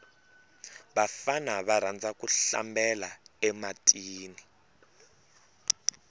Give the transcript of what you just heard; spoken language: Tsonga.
vafana va rhandza ku hlambela e matini